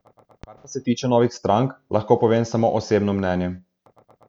Kar se pa tiče novih strank, lahko povem samo osebno mnenje.